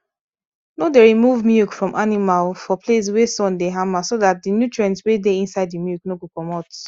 no dey remove milk from animal for place wey sun dey hama so dat the nutrients wey dey inside the milk no go comot